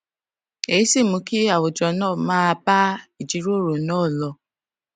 èyí sì mú kí àwùjọ náà máa bá ìjíròrò náà lọ